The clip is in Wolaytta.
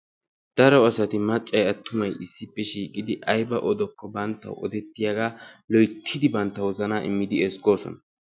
Daro asati maccay attumay issippe shiiqqidi aybba oddokko banttawu oddettiyagaa loyttidi bantta wozanaa immidi ezzggoosona.